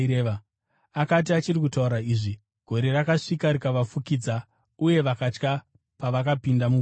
Akati achiri kutaura izvi, gore rakasvika rikavafukidza, uye vakatya pavakapinda mugore.